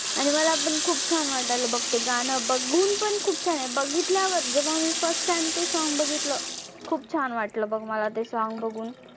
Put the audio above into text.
आणि मला पण खूप छान वाटालं बघ ते गाणं बघून पण खूप छान आहे, बघितल्यावर जेव्हा मी first time ते song बघितलं खूप छान वाटलं बघ मला ते song बघून.